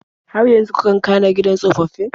Har yanzu kakan ka na gidan tsofaffi?